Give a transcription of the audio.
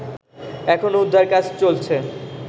এখনও উদ্ধার কাজ চলছে